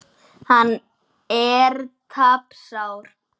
Hann er tapsár.